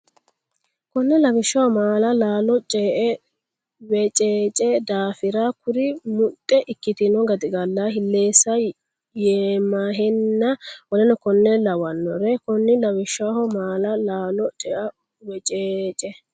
Konni Lawishshaho maala laalo cea weceece daafira kuri muxxe ikkitino gaxigalla hilleessa yemahenna w k l Konni Lawishshaho maala laalo cea weceece.